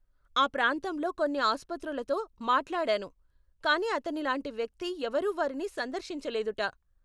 ఆ ప్రాంతంలోని కొన్ని అస్పతులతో మాట్లాడాను కానీ అతనిలాంటి వ్యక్తి ఎవరు వారిని సందర్శించలేదుట.